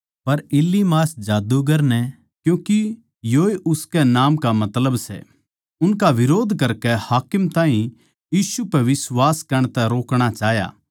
पर इलीमास जादूगर नै क्यूँके योए उसकै नाम का मतलब सै उनका बिरोध करकै हाकिम ताहीं यीशु पै बिश्वास करण तै रोकणा चाह्या